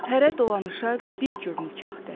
Hərə dolanışa bir cür nikahdır.